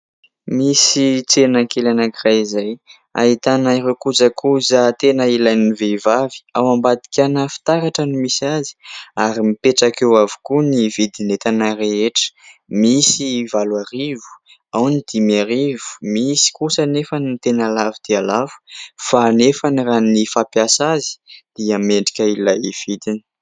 Mosy tsena kely anak'iray izay ahitana ireo kojakoja tena ilain'ny vehivavy ao ambadika ana fitaratra no ahitana azy ary mipetraka eo avokoa ny vidin'entana rehetra misy valo arivo ao ny dimy arivo misy kosa anefa ny tena lafo dia lafo fa anefa raha ny fampiasa azy dia mendrika ilay vidiny